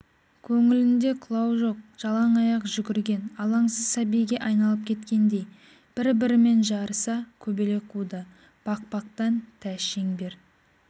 көңілінде қылау жоқ жалаң аяқ жүгірген алаңсыз сәбиге айналып кеткендей бір-бірімен жарыса көбелек қуды бақбақтан тәж-шеңбер